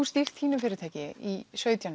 stýrt þínu fyrirtæki í sautján